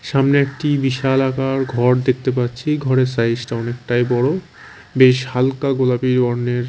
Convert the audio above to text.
সামনে একটি বিশালাকার ঘর দেখতে পাচ্ছি ঘরের সাইজ -টা অনেকটাই বড় বেশ হালকা গোলাপি বর্ণের।